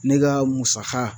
Ne ka musaka